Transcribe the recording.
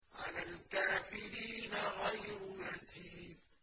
عَلَى الْكَافِرِينَ غَيْرُ يَسِيرٍ